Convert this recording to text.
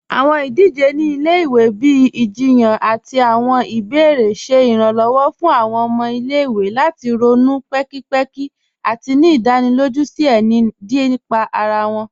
Awọn idije ni ilẹ̀-iwe, bíi awọn ìjìyàn àti awọn ìbèèrè, ṣẹ Ìrànlọ́wọ́ fún awọn ọmọ ilẹ̀-iwe lati ronú ni pẹ̀kìpẹ̀kì àti ni ìdánílójú díẹ̀ síí nípà ara wọn.